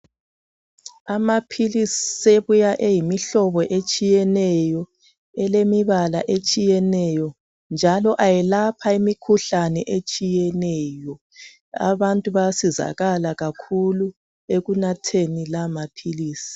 Amaphilisi sebuya eyimihlobo etshiyeneyo elemibala etshiyeneyo njalo ayelapha imikhuhlane etshiyeneyo. Abantu bayasizakala kakhulu ekunatheni la maphilisi.